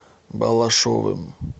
балашовым